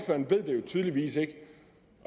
tydeligvis ikke